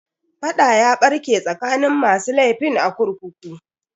Fada ya barke tsakanin masu laifin a kurkukun.